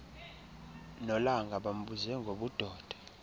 nolanga bambuze ngobudoda